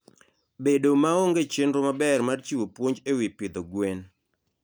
Bedo maonge chenro maber mar chiwo puonj e wi pidho gwen.